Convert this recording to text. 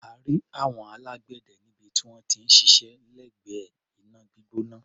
A rí àwọn alágbẹ̀dẹ níbi tí wọ́n ti ń ṣiṣẹ́ lẹ́gbẹ̀ẹ́ iná gbígbóná.